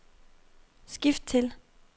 skift til